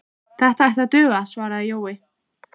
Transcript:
Það ætti að duga, svaraði Jói.